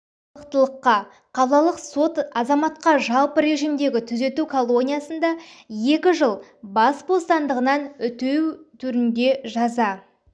қылықтылыққа қалалық сот азаматқа жалпы режимдегі түзету колониясында екі жыл бас бостандығынан үтеу түрінде жаза